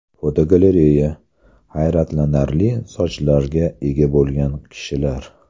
Fotogalereya: Hayratlanarli sochlarga ega bo‘lgan kishilar.